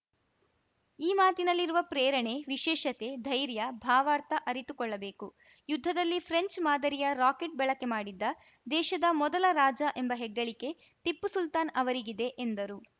ಈ ಮಾತಿನಲ್ಲಿರುವ ಪ್ರೇರಣೆ ವಿಶೇಷತೆ ಧೈರ್ಯ ಭಾವಾರ್ಥ ಅರಿತುಕೊಳ್ಳಬೇಕು ಯುದ್ಧದಲ್ಲಿ ಫ್ರೆಂಚ್‌ ಮಾದರಿಯ ರಾಕೆಟ್‌ ಬಳಕೆ ಮಾಡಿದ್ದ ದೇಶದ ಮೊದಲ ರಾಜ ಎಂಬ ಹೆಗ್ಗಳಿಕೆ ಟಿಪ್ಪು ಸುಲ್ತಾನ್‌ ಅವರಿಗಿದೆ ಎಂದರು